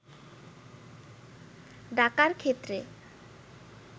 ডাকার ক্ষেত্রে